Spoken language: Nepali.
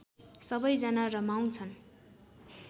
सबैजना रमाउँछन्